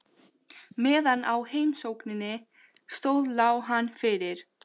Meðan á heimsókninni stóð lá hann fyrir.